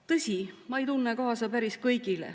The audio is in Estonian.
Tõsi, ma ei tunne kaasa päris kõigile.